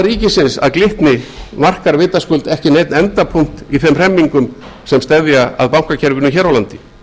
ríkisins að glitni markar vitaskuld ekki neinn endapunkt í þeim hremmingum sem steðja að bankakerfinu hér á landi